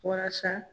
Walasa